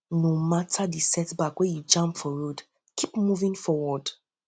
no mata di setback wey you jam for road kip moving forward